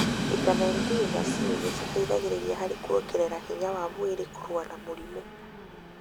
vitamini D na C nĩciteithagia harĩ kuongerera hinya wa mwĩrĩ kũrũa na mĩrimũ.